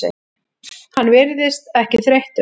Hann virðist ekki þreyttur.